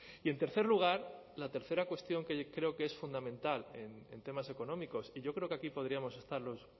y en tercer lugar la tercera cuestión que creo que es fundamental en temas económicos y yo creo que aquí podríamos estar los